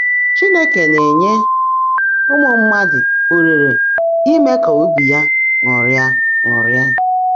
Chínekè ná-ènyé ụ́mụ́ mmádụ́ ólèèré íme kà óbí yá ṅụ́rị́á ṅụ́rị́á